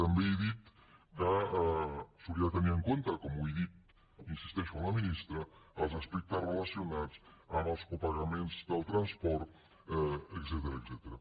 també he dit que s’hauria de tenir en compte com ho he dit hi insisteixo a la ministra els aspectes relacionats amb els copagaments del transport etcètera